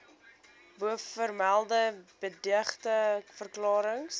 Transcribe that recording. bovermelde beëdigde verklarings